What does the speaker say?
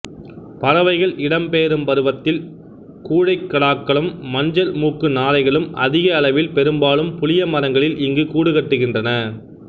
பறவைகள் இடம்பெயரும் பருவத்தில் கூழைக்கடாக்களும் மஞ்சள் மூக்கு நாரைகளும் அதிக அளவில் பெரும்பாலும் புளியமரங்களில் இங்கு கூடு கட்டுகின்றன